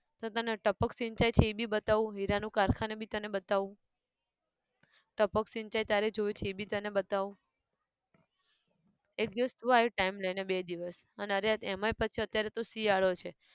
તો તને ટપક સિંચાઈ છે એ બી બતાઉં હીરા નું કારખાનું છે એ બી બતાઉં, ટપક સિંચાઈ તારે જોવી છે એ બી તને બતાવું, એક દિવસ તું આય time લઈને બે દિવસ, અને યાર એમાંયે પાછું યાર અત્યારે તો શિયાળો છે